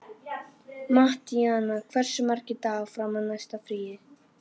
Mattíana, hversu margir dagar fram að næsta fríi?